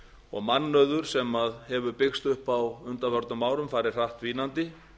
og mannauður sem hefur byggst upp á undanförnum árum farið hratt dvínandi